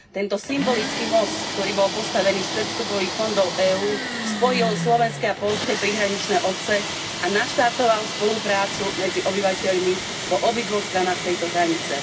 Tento symbolický most, ktorý bol postavený z predvstupových fondov EÚ, spojil slovenské a poľské prihraničné obce a naštartoval spoluprácu medzi obyvateľmi po obidvoch stranách tejto hranice.